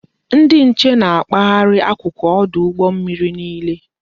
Ndị nche na-akpaharị akụkụ ọdụ ụgbọ mmiri niile